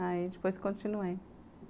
Aí depois continuei.